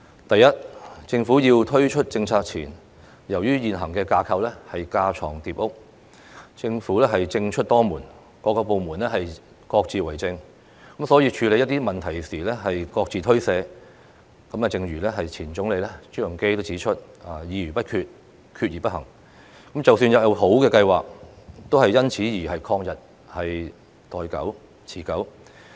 第一，政府在推出政策前，由於現行架構架床疊屋，政出多門，各個部門各自為政，所以處理一些問題時各自推卸責任，正如前總理朱鎔基指出的"議而不決，決而不行"，即使有好的計劃都因此曠日持久。